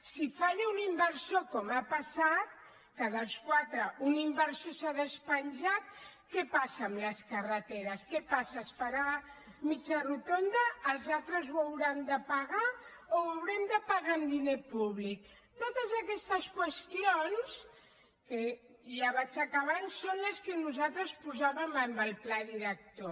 si falla un inversor com ha passat que dels quatre un inversor s’ha despenjat què passa amb les carreteres què passa es farà mitja rotonda els altres ho hauran de pagar o ho haurem de pagar amb diner públic totes aquestes qüestions i ja vaig acabant són les que nosaltres posàvem en el pla director